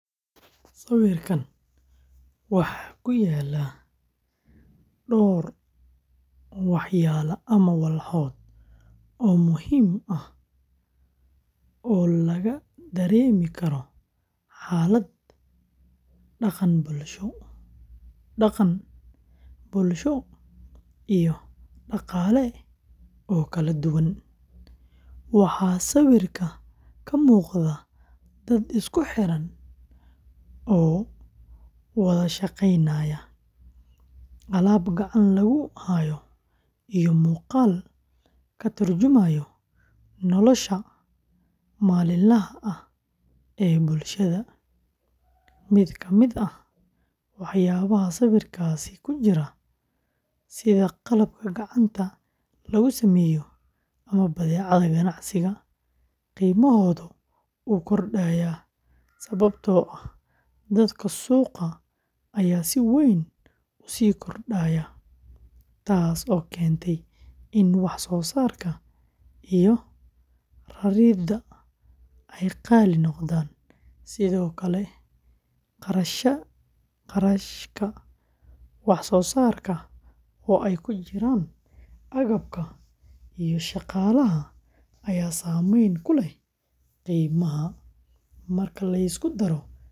Sawirkaan waxaa ku yaal dhowr walxood oo muhiim ah oo laga dareemi karo xaalad dhaqan, bulsho, iyo dhaqaale oo kala duwan. Waxaa sawirka ka muuqda dad isku xiran oo wada shaqeynaya, alaab gacan lagu hayo, iyo muuqaal ka turjumaya nolosha maalinlaha ah ee bulshada. Mid ka mid ah waxyaabaha sawirkaasi ku jira, sida qalabka gacanta lagu sameeyo ama badeecada ganacsi, qiimahoodu wuu kordhayaa sababtoo ah dalabka suuqa ayaa si weyn u sii kordhaya, taasoo keentay in wax soo saarka iyo raridda ay qaali noqdaan. Sidoo kale, kharashka wax soo saarka oo ay ku jiraan agabka iyo shaqaalaha ayaa saameyn ku leh qiimaha. Marka la isku daro arrimahan, qiimaha badeecadaas ayaa sare u kacaya.